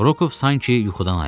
Roku sanki yuxudan ayıldı.